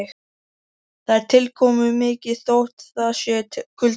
Það er tilkomumikið þótt það sé kuldalegt.